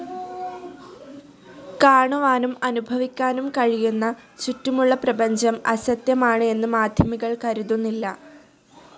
കാണുവാനും അനുഭവിക്കാനും കഴിയുന്ന ചുറ്റുമുള്ള പ്രപഞ്ചം അസത്യമാണ് എന്ന് മാധ്യമികർ കരുതുന്നില്ല.